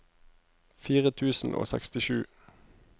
fire tusen og sekstisju